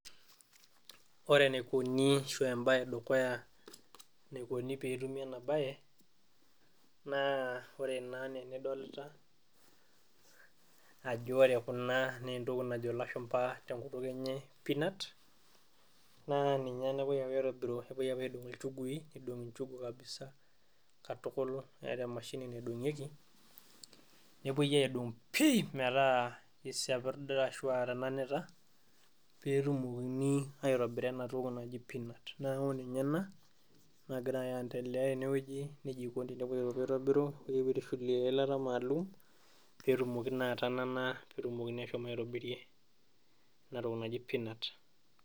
Ore enaikoni ashu embaye edukuya nikoni petumi ena baye naa ore naa enaa enidolta ajo ore kuna nentoki najo ilashumpa tenkutuk enye peanut naa ninye nepuoi apuo aitobiru epuoi apuo aidong'u ilchugui neidong'i inchugu kabisa katukul neeta emashini naidong'ieki nepuoi aidong pii metaa kisiapirda ashua etenanita petumokini aitobira enatoki naji peanut naaku ninye ena nagira aendelea tenewoji nejia eikoni tenepuoi apuo aitobiru epuoi apuo aitushulie eilata maalum petumoki naa atanana petumokini ashom aitobirie enatoki naji peanut.